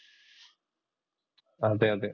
അതെ അതെ